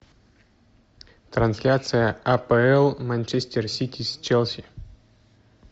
трансляция апл манчестер сити с челси